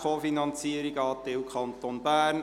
Co-Finanzierung Anteil Kanton Bern.